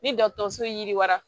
Ni dɔgɔtɔrɔso yiriwa